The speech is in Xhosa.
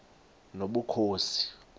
nobukhosi